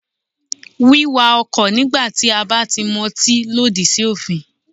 Wíkakọ̀ nígbà tí a bá ti motín lòdì sí òfin.